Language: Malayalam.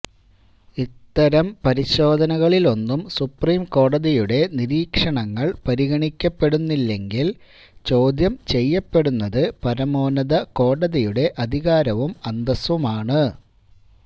ഇത്തരം പരിശോധനകളിലൊന്നും സുപ്രീം കോടതിയുടെ നിരീക്ഷണങ്ങള് പരിഗണിക്കപ്പെടുന്നില്ലെങ്കില് ചോദ്യംചെയ്യപ്പെടുന്നത് പരമോന്നത കോടതിയുടെ അധികാരവും അന്തസ്സുമാണ്